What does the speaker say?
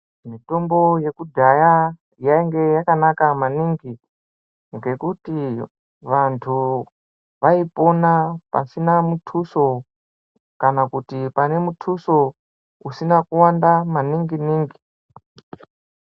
Mitombo yekudhaya yainge yakanaka maningi ngekuti vantu vaipona pasina muthuso kana kuti pane muthuso usina kuwanda maningi ningi .